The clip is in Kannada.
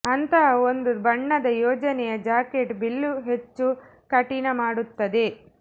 ಅಂತಹ ಒಂದು ಬಣ್ಣದ ಯೋಜನೆಯ ಜಾಕೆಟ್ ಬಿಲ್ಲು ಹೆಚ್ಚು ಕಠಿಣ ಮಾಡುತ್ತದೆ